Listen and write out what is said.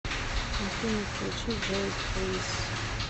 афина включи джейк рис